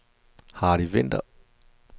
Hardy Winther